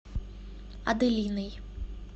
аделиной